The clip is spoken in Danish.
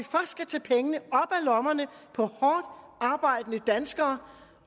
lommerne på hårdt arbejdende danskere